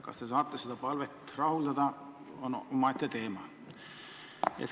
Kas te saate seda palvet rahuldada, on omaette teema.